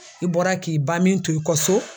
I bɔra k'i ban min to i kɔ so.